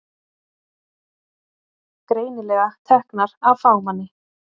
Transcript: Greinilega teknar af fagmanni.